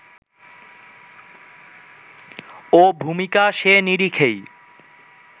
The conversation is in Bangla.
ও ভূমিকা সে নিরিখেই